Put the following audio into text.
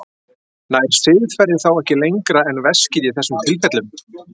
Nær siðferðið þá ekki lengra en veskið í þessum tilfellum?